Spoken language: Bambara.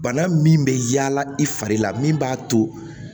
Bana min bɛ yaala i fari la min b'a to